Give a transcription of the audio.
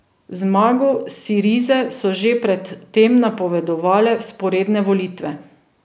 Zmago Sirize so že pred tem napovedale vzporedne volitve.